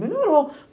Melhorou.